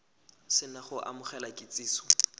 se na go amogela kitsiso